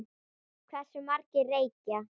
Hversu margir reykja?